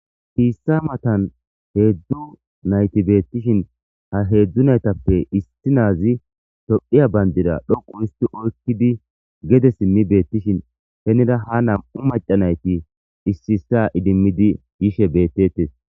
Ketha matan hedzdzu nayti betishin ha hedzdzu naytappe issi nazi tophiya bandira dhoqu histi oykodi gede simi betishin ha nam'u maca nayti issi issa idimidi betosona